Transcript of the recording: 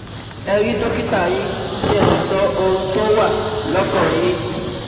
Ẹ rí dọ́kítà yín kí ẹ sì sọ ohun tó wà lọ́kàn yín